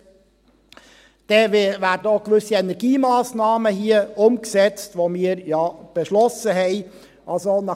Dann werden hier auch gewisse Energiemassnahmen umgesetzt, die wir ja beschlossen haben.